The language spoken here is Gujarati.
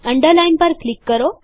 અન્ડરલાઈન પર ક્લિક કરો